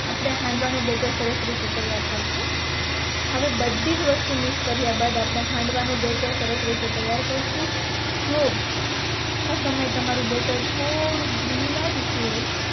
આપણે હાંડવા નો બેટર સરસ રીતે તૈયાર કરશું હવે બધીજ વસ્તુ મિક્સ કર્યા બાદ આપણે હાંડવા નું બેટર સરસ રીતે તૈયાર કરશુ જો આ સમય તમારું બેટર થોડુંક ઢીલું લાગતું હોય